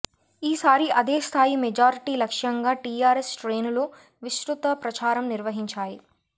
ఈసారీ అదే స్థాయి మెజార్టీ లక్ష్యంగా టీఆర్ఎస్ శ్రేణులు విస్తృత ప్రచారం నిర్వహించాయి